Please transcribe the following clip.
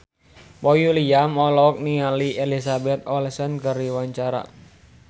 Boy William olohok ningali Elizabeth Olsen keur diwawancara